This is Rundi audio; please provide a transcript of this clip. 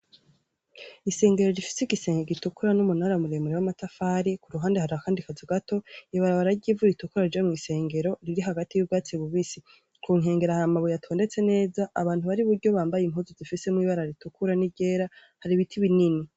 Isengero rifise igisenge gitukura n’umunara mure mure w’amatafari. Ku ruhande hari akandi kazu gato. Ibarabara ry’ivu ritukura rija mu isengero riri hagati y’ubwatsi bubisi. Ku nkengera hari amabuye atondetse neza. Abantu bari iburyo bambaye impuzu zifisemwo ibara ritukura n’iryera, hari ibiti binini.